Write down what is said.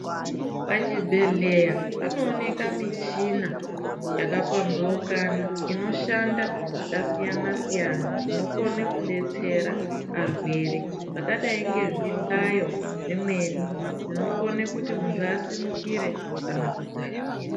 Pachibhedhleya panooneka michina yakapambaukana inoshanda zvakasiyana siyana inokone kudetsera arwere zvakadai ngezvihlayo zvimweni zvinokone kuti muntu asimukire kana kudzakira.